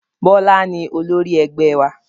Bọlá ni olórí ẹgbẹ́ wa